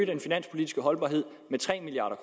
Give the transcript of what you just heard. den finanspolitiske holdbarhed med tre milliard